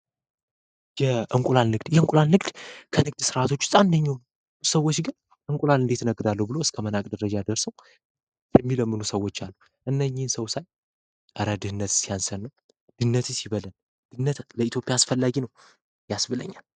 የእንቁላል ንግድ ከንግድ ሥርዓት ውስጥ አንደኛው ሰዎች ግን እንቁላል እንዴት እነግዳለሁ ተብሎ እስከመናቅ ደረጃ ደርሰው። የሚለምኑ ሰዎች አሉ። እነኚህን ሰው ሳይ ጽኑ እረ ድህነት ሲያንሰን ነው ድህነትስ ይበለን። ለኢትዮጵያ አስፈላጊ ነው ያስብለኛል።